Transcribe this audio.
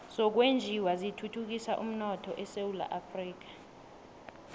zokwenjiwa zithuthukisa umnotho esewula afrika